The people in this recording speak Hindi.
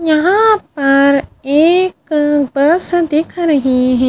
यहां पर एक बस दिख रहे हैं।